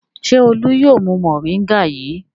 Ṣé Olú yóò mu mòríngà yìí?